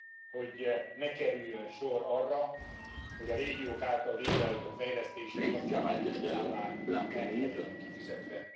hogy ne kerüljön sor arra, hogy a régiók által végrehajtott fejlesztések kapcsán benyújtott számlák ne legyenek kifizetve.